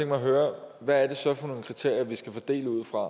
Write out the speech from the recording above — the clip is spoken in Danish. mig at høre hvad det så er for nogle kriterier vi skal fordele ud fra